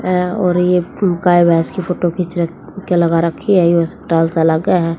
और ये गाय भैंस की फोटो खींच र के लगा रखी है ये हस्पताल सा लागा है।